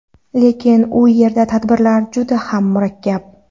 Lekin u yerda tartiblar juda ham murakkab.